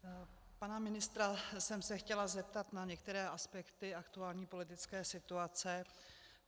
Pana ministra jsem se chtěla zeptat na některé aspekty aktuální politické situace.